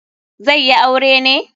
Zai yi aure ne.